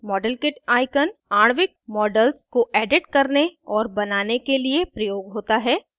modelkit icon आणविक models को edit करने और बनाने के लिए प्रयोग होता है